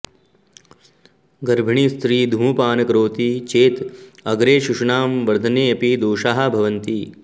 गर्भिणीस्त्री धूमपानं करोति चेत् अग्रे शिशूनां वर्धनेऽपि दोषाः भवन्ति